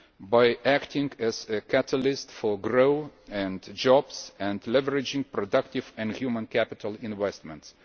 by acting as a catalyst for growth and jobs and leveraging productive and human capital investments.